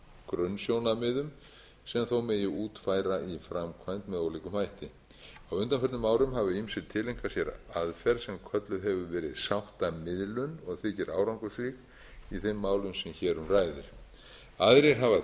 grunnsjónarmiðum sem þó megi útfæra í framkvæmd með ólíkum hætti á undanförnum árum hafa ýmsir tileinkað sér aðferð sem kölluð hefur verið sáttamiðlun og þykir árangursrík í þeim málum sem hér um ræðir aðrir hafa